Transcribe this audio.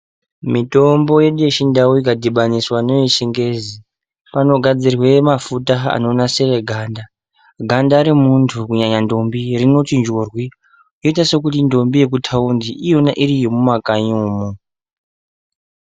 Mitombo yedu yechindau ikadhibaniswa neyechingezi, panogadzirwe mafuta anonasire anda. Ganda remuntu kunyanya ndombi rinochinjwa kuita sekuti ndombi yekuthaundi, iyo iri ndombi yemumakanyi umomo.